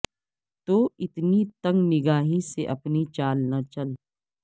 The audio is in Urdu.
تو اتنی تنگ نگاہی سے اپنی چال نہ چل